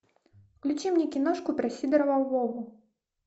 включи мне киношку про сидорова вову